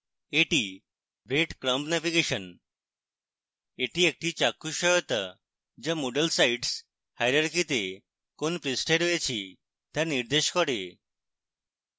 এটি breadcrumb navigation এটি একটি চাক্ষুষ সহায়তা যা moodle sites hierarchy তে কোন পৃষ্ঠায় রয়েছি তা নির্দেশ করে